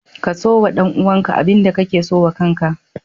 Kaso wa ɗan uwanka abinda kake so wa kanka